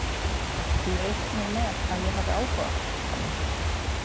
Þú reiknar með að ég hafi áhuga?